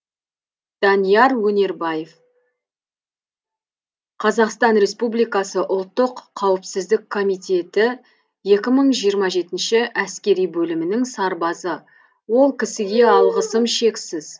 данияр өнербаев қазақстан республикасы ұлттық қауіпсіздік комитетіекі мың жиырма жетінші әскери бөлімінің сарбазы ол кісіге алғысым шексіз